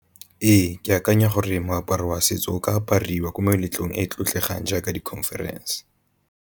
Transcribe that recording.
Ee, ke akanya gore moaparo wa setso o ka apariwa ko meletlong e e tlotlegang jaaka di conference.